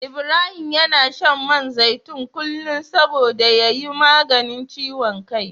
Ibrahim yana shan man zaitun kullum saboda ya yi maganin ciwon kai.